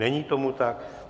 Není tomu tak.